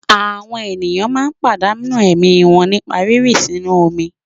Àwọn ènìyàn máa ń pàdánù ẹ̀mí wọn nípa rírìn sínú omi.